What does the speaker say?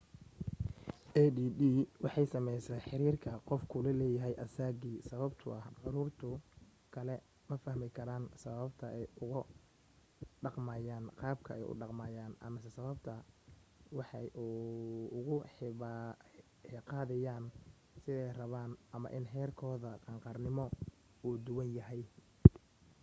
add waxay saameysaa xiriirka qofku la leeyahay asaagii sababtoo ah caruurta kale ma fahmi karaan sababata ay ugu dhaqmayaan qaabka ay u dhaqmayaan amase sababta ay waxa ugu higaadiyaan siday rabaan ama in heerkooda qaangaarnimo uu duwan yahay